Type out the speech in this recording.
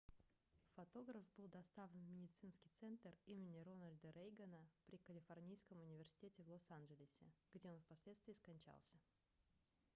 фотограф был доставлен в медицинский центр имени рональда рейгана при калифорнийском университете в лос-анджелесе где он впоследствии скончался